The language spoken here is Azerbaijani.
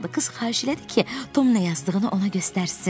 Qız xahiş elədi ki, Tom nə yazdığını ona göstərsin.